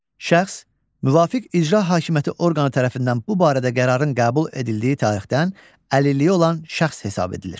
Şəxs müvafiq icra hakimiyyəti orqanı tərəfindən bu barədə qərarın qəbul edildiyi tarixdən əlilliyi olan şəxs hesab edilir.